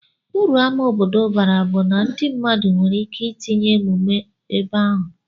Uru ama obodo bara bu na ndi mmadu nwere ike itinye emume ebeahu.